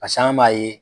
Pase an b'a ye